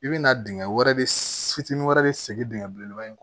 I bɛ na dingɛ wɛrɛ de fitinin wɛrɛ de sigi dingɛ belebeleba in